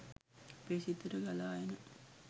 අපේ සිතට ගලා එන